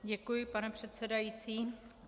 Děkuji, pane předsedající.